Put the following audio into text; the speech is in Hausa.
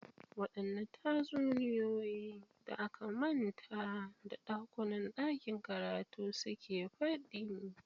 Waɗanne tatsuniyoyi da aka manta da ɗakunan ɗakin karatu suke faɗi?